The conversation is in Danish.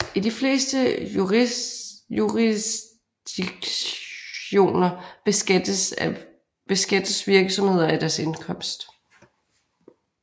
I de fleste jurisdiktioner beskattes virksomheder af deres indkomst